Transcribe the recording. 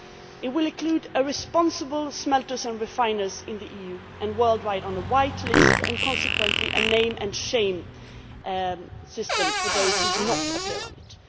It will include responsible smelters and refiners in the EU and worldwide on a white list and consequently a name and shame' system for those that do not appear on it.